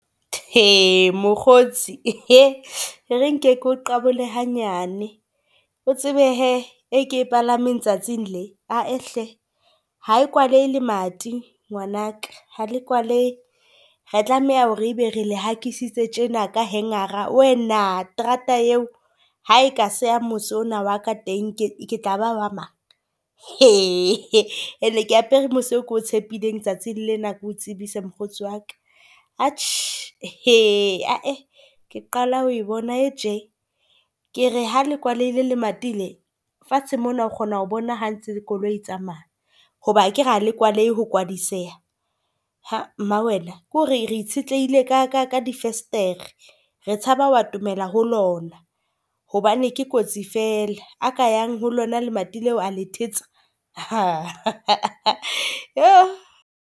Mokgotsi e re nke keo qabole hanyane. O tsebe hee e ke e palameng tsatsi le ae hle ha e kwalehe lemati ngwanaka, ha le kwalehe. Re tlameha hore ebe re le hakisitse tjena ka hanger-a wena. Terata eo ha eka seya mose ona wa ka teng ke tla ba wa mang? Ene ke apere mose o ko tshepileng tsatsing lena keo tsebise mokgotsi waka atjhe , ee ke qala ho bona e tje. Ke re ha le kwaleile le mati le fatshe mona o kgona ho bona ha ntse le koloi e tsamaya, hoba akere ha le kwalehe ho kwaliseha. Mma wena, ke hore re itshetlehile ka difestere. Re tshaba wa atomela ho lona hobane ke kotsi fela, a ka yang ho lona lemati leo a le thetsa .